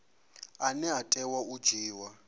ane a tea u dzhiiwa